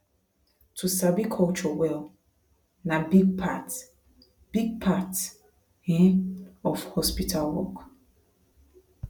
to sabi culture well na big part big part um of hospital work